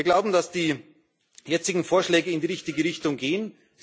Wir glauben, dass die jetzigen Vorschläge in die richtige Richtung gehen.